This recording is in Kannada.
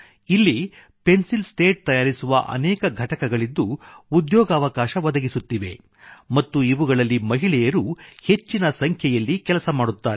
ಇಲ್ಲಿ ಪೆನ್ಸಿಲ್ ಸ್ಲೇಟ್ ತಯಾರಿಸುವ ಅನೇಕ ಘಟಕಗಳಿದ್ದು ಉದ್ಯೋಗಾವಕಾಶ ಒದಗಿಸುತ್ತಿವೆ ಮತ್ತು ಇವುಗಳಲ್ಲಿ ಮಹಿಳೆಯರು ಹೆಚ್ಚಿನ ಸಂಖ್ಯೆಯಲ್ಲಿ ಕೆಲಸ ಮಾಡುತ್ತಾರೆ